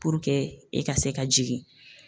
e ka se ka jigin.